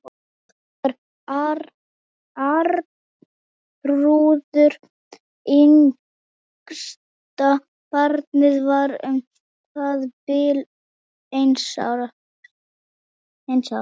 Hann fór þegar Arnþrúður, yngsta barnið, var um það bil eins árs.